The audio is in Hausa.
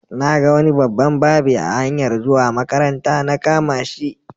Na ga wani babban babe a hanyar zuwa makaranta, na kama shi.